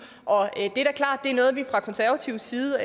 og det er da klart at det er noget vi fra konservativ side